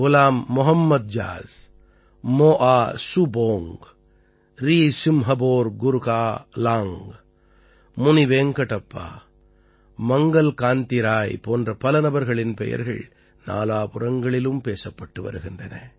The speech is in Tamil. குலாம் மொஹம்மத் ஜாஸ் மோஆ சுபோங்க் ரீசிம்ஹபோர் குர்காலாங்க் முனிவேங்கடப்பா மங்கல் க் காந்தி ராய் போன்ற பல நபர்களின் பெயர்கள் நாலாபுறங்களிலும் பேசப்பட்டு வருகின்றன